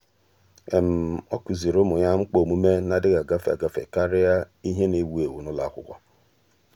ọ́ kụ́zị̀rị̀ ụ́mụ́ yá mkpa ọ́mụ́mé nà-adị́ghị́ ágafe ágafe kàrị́a ìhè nà-èwú éwú n’ụ́lọ́ ákwụ́kwọ́.